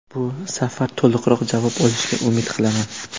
Bu safar to‘liqroq javob olishga umid qilaman.